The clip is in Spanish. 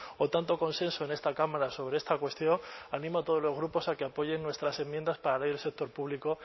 o tanto consenso en esta cámara sobre esta cuestión animo a todos los grupos a que apoyen nuestras enmiendas para la ley del sector público